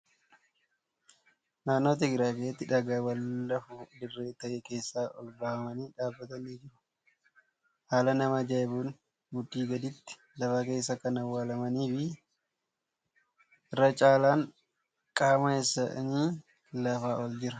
Naannoo Tigraay keessatti dhagaawwan lafuma dirree ta'e keessaa ol babbaafamanii dhaabbatan ni jiru. Haala nama ajaa'ibuun mudhii gaditti lafa keessa kan awwaalamanii fi irra caalaan qaama isaanii lafaa ol jira.